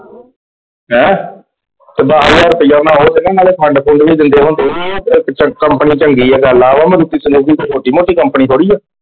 ਹੈਂ? ਤੇ ਦੱਸ ਹਜਾਰ ਰੁਪਇਆ ਮੈਂ ਤੇ ਨਾਲ ਖੰਡ ਖੁੰਦ ਵੀ ਦਿੰਦੇ ਹੁੰਦੇ ਆ। ਤੇ ਪਿੱਛੋਂ ਕਮਪਨੀ ਚੰਗੀ ਆ ਕਰਲਾ। ਉਹ ਮਰੂਤੀ ਸੁਜ਼ੂਕੀ ਕੋਈ ਛੋਟੀ ਮੋਤੀ ਕਮਪਨੀ ਥੋੜੀ ਆ।